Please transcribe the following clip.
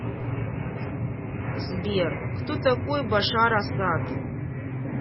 сбер кто такой башар асад